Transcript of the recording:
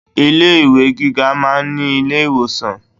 Ilé ìwé gíga máa ń ní ilé ìwòsàn.